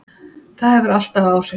Það hefur alltaf áhrif.